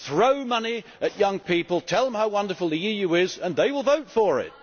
Throw money at young people, tell them how wonderful the EU is, and they will vote for it!